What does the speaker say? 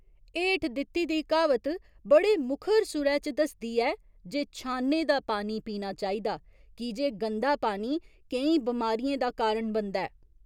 हेठ दित्ती दा क्हावत बड़े मुखर सुरै च दसदी ऐ जे छाने दा पानी पीना चाहिदा की जे गंदा पानी केईं बीमारियें दा कारण बनदा ऐ।